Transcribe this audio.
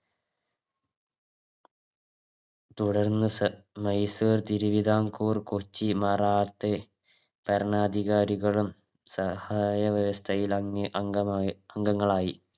തുടർന്ന് സ മൈസൂർ തിരുവിതാംകൂർ കുർച്ചി മാറാത്തെ ഭരണാധികാരികളും സഹായ വ്യവസ്ഥയിൽ അങ്ങ അംഗമായി അംഗങ്ങളായി